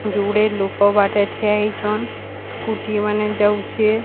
ଯୁଡେ ଲୋକ ବାଟେ ଠିଆ ହେଇଛନ ସ୍କୁଟି ମାନେ ଯାଉଛେ।